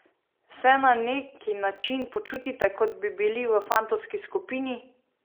Se na neki način počutite, kot bi bili v fantovski skupini?